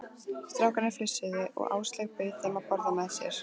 Strákarnir flissuðu og Áslaug bauð þeim að borða með sér.